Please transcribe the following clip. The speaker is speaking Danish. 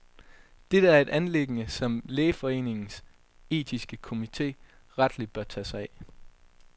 Dette er et anliggende, som lægeforeningens etiske komite rettelig bør tage sig af.